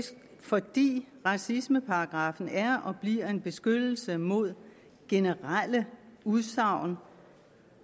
fordi racismeparagraffen er og bliver en beskyttelse mod generelle udsagn